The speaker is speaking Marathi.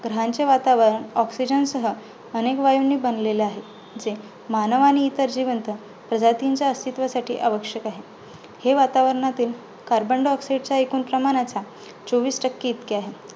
ग्रहांचे वातावरण oxygen सह अनेक वायूंनी बनलेले आहे. जे मानवाने आणि इतर जीवन जिवंत प्रजातींसाठी अस्तित्वासाठी आवश्यक आहे. हे वातावरणातील carbon diaoxide च्या एकूण प्रमाणाच्या चोवीस टक्के इतके आहे.